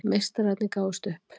Meistararnir gáfust upp